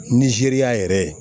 Nizeriya yɛrɛ